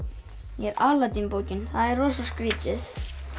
ég er bókin það er rosa skrítið